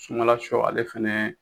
Sumala sɔ ale fɛnɛ